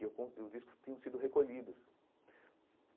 E eu com e os discos tinham sido recolhidos.